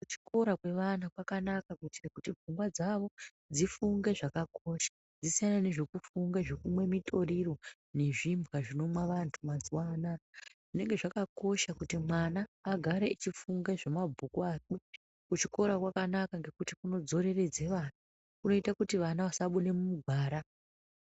Kuchikora kwevana kwakanaka kuitire kuti pfungwa dzawo dzifunge zvakakosha dzisiyane nezvekufunge zvekumwe mitoriro nezvimbwa zvinomwa vantu mazuva anaya, zvinenge zvakakosha kuti mwana agare achifunga zvemabhuku akwe, kuchikora kwakanaka nekuti kunodzororedze vana kunoita kuti vana vasabude mugwara.